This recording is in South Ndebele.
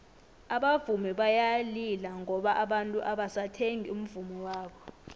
abavumi bayalila ngoba abantu abasathengi umvummo wabo